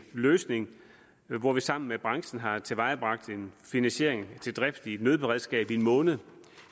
løsning hvor vi sammen med branchen har tilvejebragt en finansiering til drift af et nødberedskab i en måned